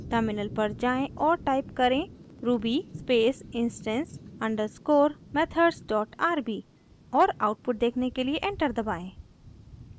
terminal पर जाएँ और टाइप करें: ruby instance_methodsrb और आउटपुट देखने के लिए एंटर दबाएं